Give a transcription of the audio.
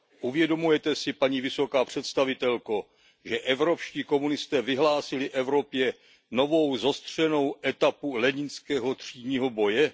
Uvědomujete si, paní vysoká představitelko, že evropští komunisté vyhlásili v Evropě novou zostřenou etapu leninského třídního boje?